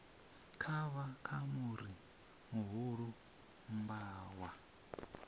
kavha ka muri muhulu mmbwa